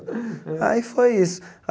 Aí foi isso.